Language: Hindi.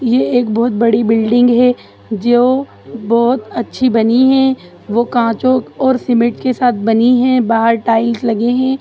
ये एक बहुत बड़ी बिल्डिंग है जो बहुत अच्छी बनी है वो काँचों और सीमेंट के साथ बनी है बाहर टाइल्स लगे है।